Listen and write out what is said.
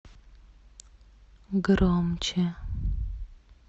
громче